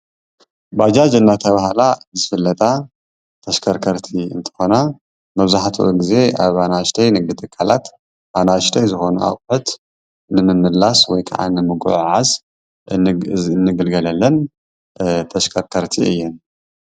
ባጃጅ እንዳተባሃላ ዝፍለጣ ተሽከርከርቲ እንትኮና መብዛሕትኡ ግዜ ኣብ ኣናእሽተይ ንግዲ ትካላት ንእሽተይ ዝኮነ ኣቁሕት ንምምልላስ ወይ ከዓ ንምጉዕዓዝ እንግልገለለን ተሽከርከርቲ እየን፡፡